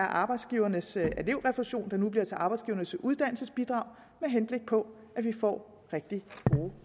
arbejdsgivernes elevrefusion der nu bliver til arbejdsgivernes uddannelsesbidrag med henblik på at vi får rigtig gode